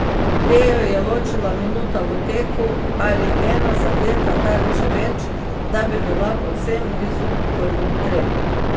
Tejo je ločila minuta v teku ali ena zadeta tarča več, da bi bila povsem blizu prvim trem.